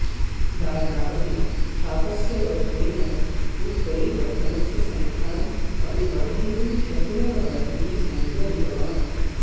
उदाहरणार्थं शाखस्य वर्धनेन उत्परिवर्तनस्य संख्याम् अपि वर्धयितुं शक्नुमः इति संशोधितवान्